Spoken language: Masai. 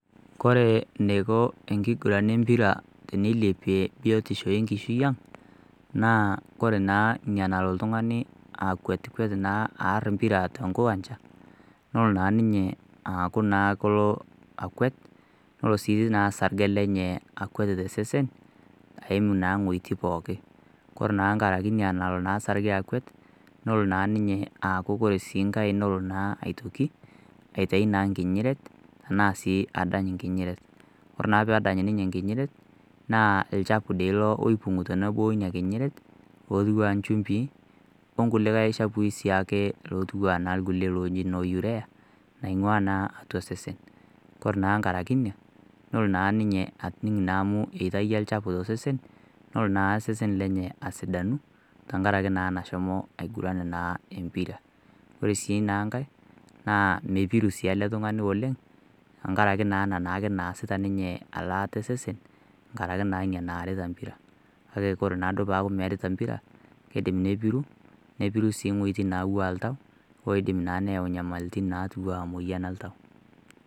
Kore neiko enkiguran empira teneilepie biotisho enkishui ang naa ore naa eneiko oltung'ani akwetikwet aaar empira tenkiwanja nelo naa ninye aaku akwet nelo sii ninye sarge lenye akwet aiim iwuejitin pooki ore naa nkaraki ina nalo sarge lenye akwet nelo naa aaku nkae aitoki aitayu naa nkinyiret ashuu adany nkinyiret ore adany nkinyiret naa olchfu doi ilo oping'ito neeku ore ina kinyiret pookia nchumbii onkilikae chafui siiake lootiwua enaa kulie looji loo pea naing'ua naa atua osese ore naa nkaraki ina nelo naa ninye ajing naa amu eitakia olchafu tosesen nelo naa osesen lenye asidanu tenkaraki naa nashomo aiguran naa empira ore sii nkae mepiru sii ele tung'ani oleng tenkaraki naake ena naasita elaata osesen nkaraki naa ina naarita empira kake ore naaduo peeku meerita empira keidim nepiru nepiru siii iweitin naing'ua oltau oidip naa neyau nyamali tina moyian oltau